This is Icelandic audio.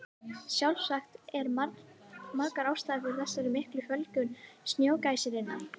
Sjálfsagt eru margar ástæður fyrir þessari miklu fjölgun snjógæsarinnar.